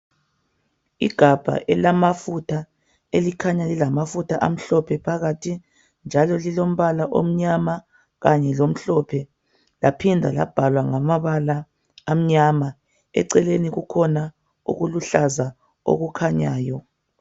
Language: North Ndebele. igabha elamafutha elikhanya lilamafutha amhlophe phakathi njalo lilompala omnyama kanye lomhlophe laphinda labhalwa ngamabala amnyama eceleni kukhona okuluhlaza okukhanyayo